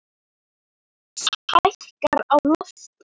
Sól hækkar á lofti.